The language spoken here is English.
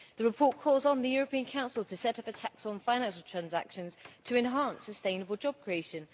The report calls on the European Council to set up a tax on financial transactions to enhance sustainable job creation.